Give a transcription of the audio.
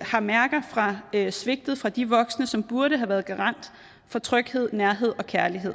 har mærker fra svigtet fra de voksne som burde have været garant for tryghed nærhed og kærlighed